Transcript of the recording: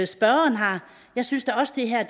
spørgeren har jeg synes da også det her